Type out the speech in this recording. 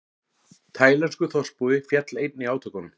Taílenskur þorpsbúi féll einnig í átökunum